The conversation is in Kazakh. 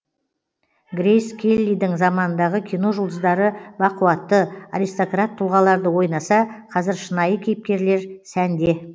грейс келлидің заманындағы кино жұлдыздары бақуатты аристократ тұлғаларды ойнаса қазір шынайы кейіпкерлер сәнде